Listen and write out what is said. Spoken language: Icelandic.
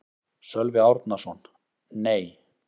Sölvi Árnason: Nei.